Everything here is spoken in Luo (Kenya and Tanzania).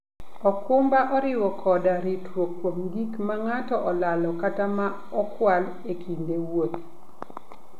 okumba oriwo koda ritruok kuom gik ma ng'ato olalo kata ma okwal e kinde wuoth.